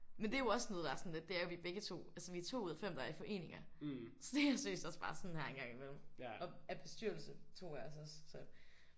Men det er jo også noget der er sådan lidt det er jo at vi begge 2 altså vi er 2 ud af 5 der er i foreninger så det er seriøst også bare sådan her en gang i mellem og er i bestyrelse 2 af os også